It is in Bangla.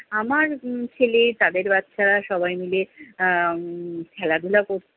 আমার উম ছেলে, তাদের বাচ্চা -সবাই মিলে আহ খেলাধুলা করছিলো।